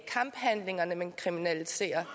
kamphandlingerne man kriminaliserer